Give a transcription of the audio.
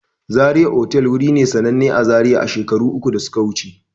Zaria otal wuri ne sananne a zaria a shekaru uku da suka wuce